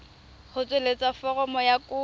go tsweletsa foromo ya kopo